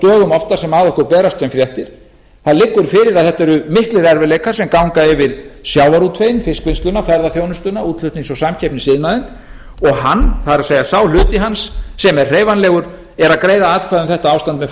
dögum oftar sem að okkur berast sem fréttir það liggur fyrir að þetta eru miklir erfiðleikar sem ganga yfir sjávarútveginn fiskvinnsluna ferðaþjónustuna útflutnings og samkeppnisiðnaðinn og hann það er sá hluti hans sem er hreyfanlegur er að greiða atkvæði um þetta ástand með